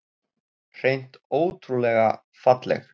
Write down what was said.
Hreint ótrúlega falleg